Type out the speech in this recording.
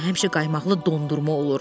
Onda həmişə qaymaqlı dondurma olur.